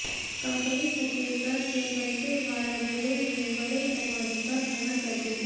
company Chhattisgarh के दंतेवाड़ा जिले में बड़े पैमाने पर खनन करती है